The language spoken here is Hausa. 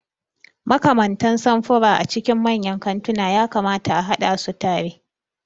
Makamantan samfura a cikin manyan kantuna ya kamata a haɗa su tare.